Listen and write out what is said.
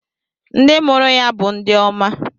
Ndị mụrụ ya bụ ndị oma.